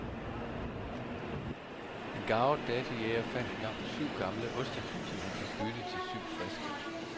En garvet datojæger fandt engang syv gamle oste, som han fik byttet til syv friske.